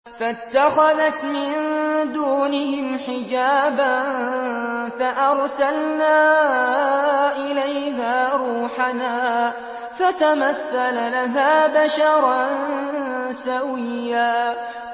فَاتَّخَذَتْ مِن دُونِهِمْ حِجَابًا فَأَرْسَلْنَا إِلَيْهَا رُوحَنَا فَتَمَثَّلَ لَهَا بَشَرًا سَوِيًّا